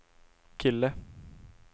kille